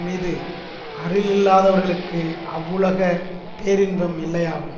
மீது அருளில்லாதவர்களுக்கு அவ்வுலகப் பேரின்பம் இல்லையாகும்